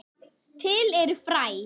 Til eru fræ.